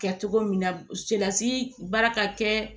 Kɛ cogo min na selasi baara ka kɛ